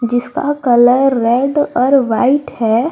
जिसका colour red और white है।